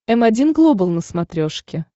м один глобал на смотрешке